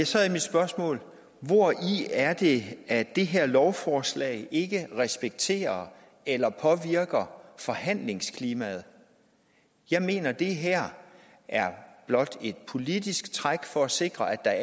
så er mit spørgsmål hvori er det at det her lovforslag ikke respekterer eller påvirker forhandlingsklimaet jeg mener at det her blot er et politisk træk for at sikre at